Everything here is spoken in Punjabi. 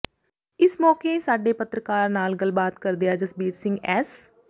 ਇਸ ਮੌਕੇ ਸਾਡੇ ਪੱਤਰਕਾਰ ਨਾਲ ਗੱਲਬਾਤ ਕਰਦਿਆਂ ਜਸਬੀਰ ਸਿੰਘ ਐਸ